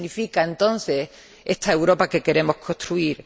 ¿Qué significa entonces esta Europa que queremos construir?